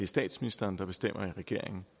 statsministeren der bestemmer i regeringen